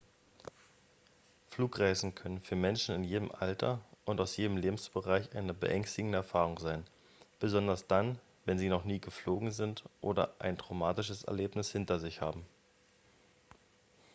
flugreisen können für menschen in jedem alter und aus jedem lebensbereich eine beängstigende erfahrung sein besonders dann wenn sie noch nie geflogen sind oder ein traumatisches erlebnis hinter sich haben